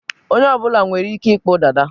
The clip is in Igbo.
onye ọ bụla nwere Ike ịkpụ Dada